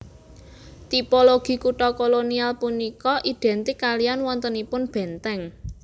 Tipologi kutha kolonial punika idèntik kaliyan wontenipun bèntèng